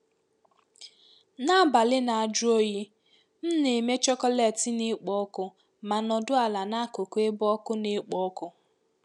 N'abalị na-ajụ oyi, m na-eme chocolate na-ekpo ọkụ ma nọdụ ala n'akụkụ ebe ọkụ na-ekpo ọkụ.